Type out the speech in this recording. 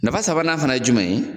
Nafa sabanan fana ye jumɛn ye